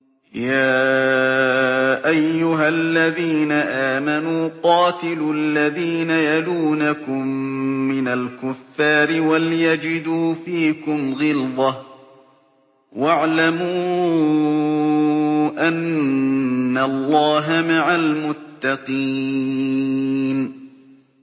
يَا أَيُّهَا الَّذِينَ آمَنُوا قَاتِلُوا الَّذِينَ يَلُونَكُم مِّنَ الْكُفَّارِ وَلْيَجِدُوا فِيكُمْ غِلْظَةً ۚ وَاعْلَمُوا أَنَّ اللَّهَ مَعَ الْمُتَّقِينَ